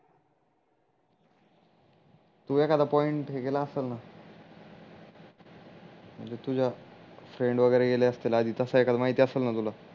तू एखादा पॉइंट ही केला असेल न म्हणजे तुझे फ्रेंड वागेरे गेले असतील आधी तस एकाद माहीत असेल ना तुला